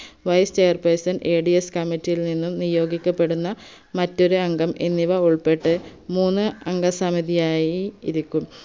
vice chair personadscommittee യിൽ നിന്നും നിയോഗിക്കപ്പെടുന്ന മറ്റൊരംഗം എന്നിവ ഉൾപ്പെട്ട് മൂന്ന് അംഗ സമിതിയായി ഇരിക്കും